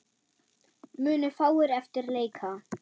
Munu fáir eftir leika.